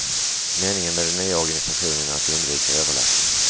Meningen med den nya organisationen är att undvika överlappning.